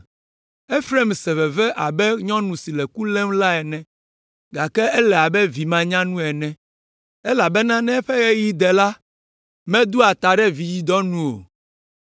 Efraim se veve abe nyɔnu si le ku lém la ene, gake ele abe vi manyanu ene, elabena ne eƒe ɣeyiɣi de la, medoa ta ɖe vidzidɔ nu o.